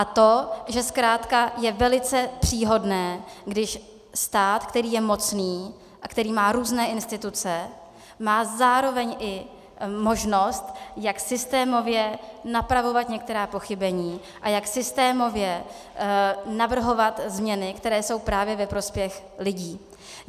A to, že zkrátka je velice příhodné, když stát, který je mocný a který má různé instituce, má zároveň i možnost, jak systémově napravovat některá pochybení a jak systémově navrhovat změny, které jsou právě ve prospěch lidí.